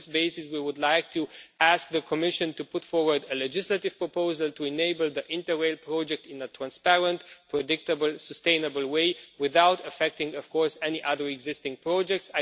On this basis we would like to ask the Commission to put forward a legislative proposal to enable the Interrail project in a transparent, predictable and sustainable way without, of course, affecting any other existing projects.